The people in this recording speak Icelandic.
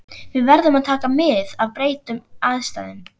Við verðum að taka mið af breyttum kringumstæðum.